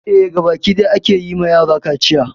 Eh, gaba ɗaya a ke yi ma yara kaciya.